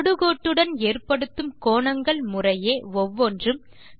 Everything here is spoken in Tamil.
தொடுகோட்டுடன் ஏற்படுத்தும் கோணங்கள் முறையே ஒவ்வொன்றும்